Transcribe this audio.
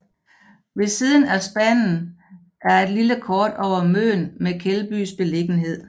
Ved siden er spanden er et lille kort over Møn med Keldbys beliggenhed